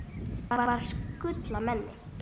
Þú varst gull af manni.